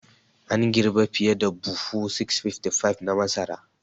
An girbi fiye da buhu 655 na masara.